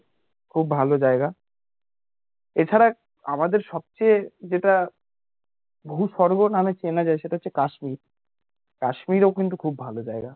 খুব ভালো জায়গা এছাড়া আমাদের সবচেয়ে যেটা ভূসর্গ নামে চেনা যায় সেটা হচ্ছে কাশ্মীর, কাশ্মীরও কিন্তু খুব ভালো জায়গা